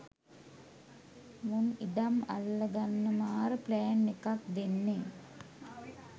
මුන් ඉඩම් අල්ල ගන්න මාර ප්ලෑන් එකක් දෙන්නේ.